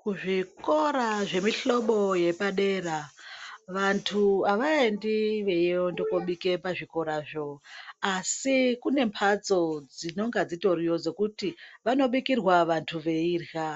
Kuzvikora zvemihlobo yepadera vantu avaendi veienda kobika pazvikorazvo asi kune mbatso dzinonga dzitoriya dzekuti vanobikirwa vantu veirya